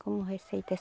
Como receita?